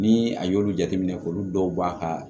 Ni a y'olu jateminɛ k'olu dɔw ba ka